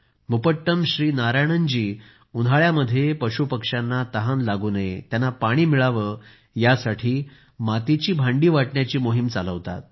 मुपट्टम श्री नारायणन जी उन्हाळ्यात पशुपक्ष्यांना तहान लागू नये पाणी मिळावे यासाठी मातीची भांडी वाटण्याची मोहीम चालवतात